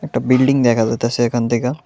একটা বিল্ডিং দেখা যাইতাছে এখান থেকা।